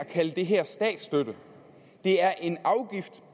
kalde det her for statsstøtte det er en afgift